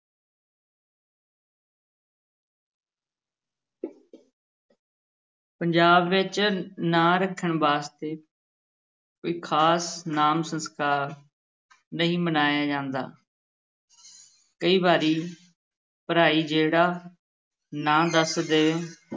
ਪੰਜਾਬ ਵਿੱਚ ਨਾਂ ਰੱਖਣ ਵਾਸਤੇ ਕੋਈ ਖ਼ਾਸ ਨਾਮ ਸੰਸਕਾਰ ਨਹੀਂ ਮਨਾਇਆ ਜਾਂਦਾ ਕਈ ਵਾਰੀ ਭਰਾਈ ਜਿਹੜਾ ਨਾਂ ਦੱਸ ਦੇ